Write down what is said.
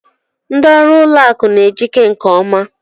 Ndị ọrụ ụlọ akụ n'ejike nke ọma.